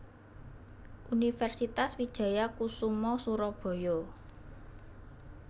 Universitas Wijaya Kusuma Surabaya